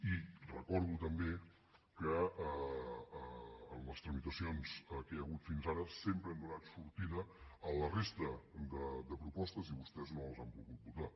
i recordo també que en les tramitacions que hi ha hagut fins ara sempre hem donat sortida a la resta de propostes i vostès no les han volgut votar